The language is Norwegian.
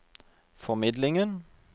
formidlingen